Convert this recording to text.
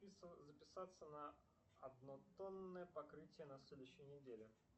записаться на однотонное покрытие на следующей неделе